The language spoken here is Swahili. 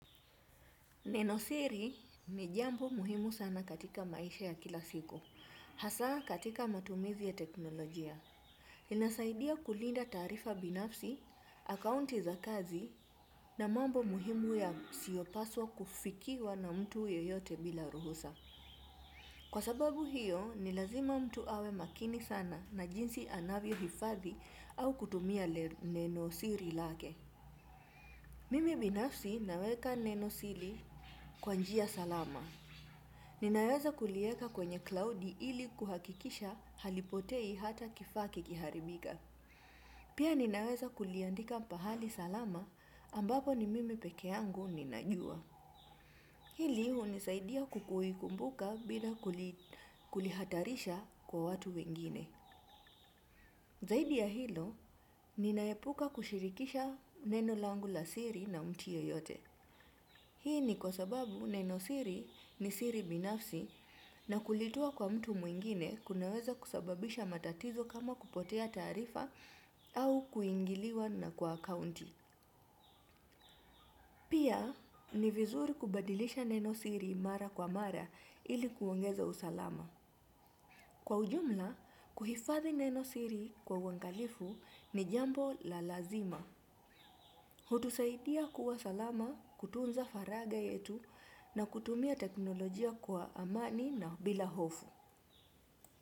Neno siri ni jambo muhimu sana katika maisha ya kila siku, hasa katika matumizi ya teknolojia. Inasaidia kulinda taarifa binafsi, akaunti za kazi na mambo muhimu ya siopaswa kufikiwa na mtu yoyote bila ruhusa. Kwa sababu hiyo ni lazima mtu awe makini sana na jinsi anavyo hifadhi au kutumia nenosiri lake. Mimi binafsi naweka nenosiri kwa njia salama. Ninaweza kulieka kwenye klaudi ili kuhakikisha halipotei hata kifa kikiharibika. Pia ninaweza kuliendika pahali salama ambapo ni mimi peke yangu ninajua. Hili hunisaidia kukui kumbuka bila kulihatarisha kwa watu wengine. Zaidi ya hilo, ninaepuka kushirikisha neno langu la siri na mtu yeyote. Hii ni kwa sababu neno siri ni siri binafsi na kulitoa kwa mtu mwingine kunaweza kusababisha matatizo kama kupotea taarifa au kuingiliwa na kwa akaunti. Pia ni vizuri kubadilisha neno siri mara kwa mara ili kuongeza usalama. Kwa ujumla, kuhifadhi neno siri kwa uangalifu ni jambo la lazima. Hutusaidia kuwa salama, kutunza faraga yetu na kutumia teknolojia kwa amani na bila hofu.